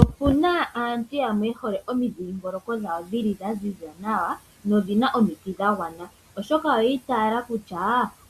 Okuna aantu yamwe yehole omidhingoloko dhawo dhili dhaziza nawa nodhina omiti dhagwana oshoka oyi itaala kutya